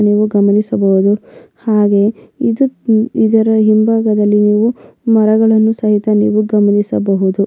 ನೀವು ಗಮನಿಸಬಹುದು ಹಾಗೆ ಇದು ಇದರ ಹಿಂಬಾಗದಲ್ಲಿ ನೀವು ಮರಗಳನ್ನು ಸಹಿತ ನಾವು ಗಮನಿಸಬಹುದು.